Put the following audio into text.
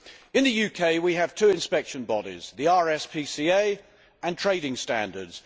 In the UK, we have two inspection bodies the RSPCA and Trading Standards.